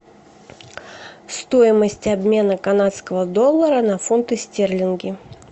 стоимость обмена канадского доллара на фунты стерлинги